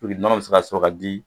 Puruke nɔnɔ bɛ se ka sɔrɔ ka di